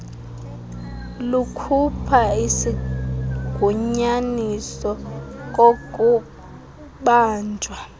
kukhupha isigunyaziso kokubanjwa